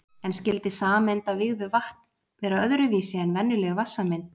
En skyldi sameind af vígðu vatn vera öðru vísi en venjuleg vatnssameind?